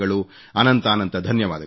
ಅನಂತಾನಂತ ಧನ್ಯವಾದಗಳು